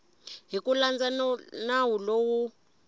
hi ku landza nawu lowu